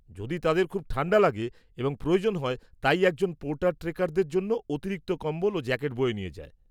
যদি তাদের খুব ঠান্ডা লাগে এবং প্রয়োজন হয় তাই একজন পোর্টার ট্রেকারদের জন্য অতিরিক্ত কম্বল ও জ্যাকেট বয়ে নিয়ে যায়।